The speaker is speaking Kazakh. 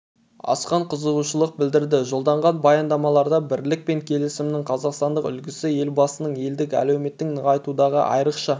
асқан қызығушылық білдірді жолданған баяндамаларда бірлік пен келісімнің қазақстандық үлгісі елбасының елдің әлеуетін нығайтудағы айрықша